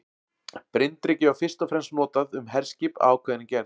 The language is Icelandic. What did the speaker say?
Bryndreki var fyrst og fremst notað um herskip af ákveðinni gerð.